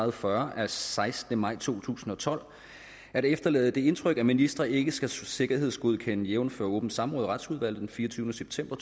og fyrre af sekstende maj to tusind og tolv at efterlade det indtryk at ministre ikke skal sikkerhedsgodkendes jævnfør åbent samråd i retsudvalget den fireogtyvende september